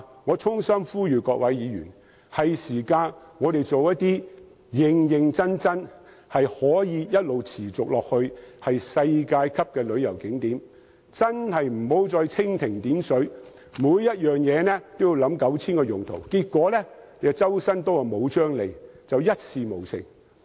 我衷心呼籲各位議員，我們是時候認真興建一些可持續的世界級旅遊景點，真的不要再蜻蜓點水，妄想每項設施都有 9,000 個用途，但結果"周身刀卻無張利"，一事無成。